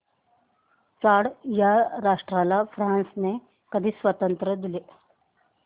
Chad या राष्ट्राला फ्रांसने कधी स्वातंत्र्य दिले